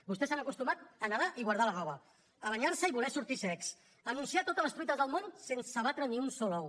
vostès s’han acostumat a nedar i guardar la roba a banyar se i voler sortir secs a anunciar totes les truites del món sense batre ni un sol ou